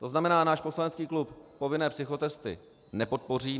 To znamená, náš poslanecký klub povinné psychotesty nepodpoří.